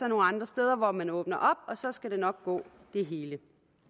nogle andre steder hvor man åbner og så skal det nok gå det hele